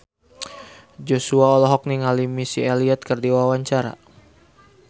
Joshua olohok ningali Missy Elliott keur diwawancara